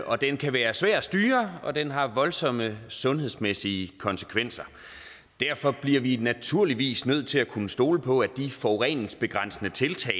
og den kan være svær at styre og den har voldsomme sundhedsmæssige konsekvenser derfor bliver vi naturligvis nødt til at kunne stole på at de forureningsbegrænsende tiltag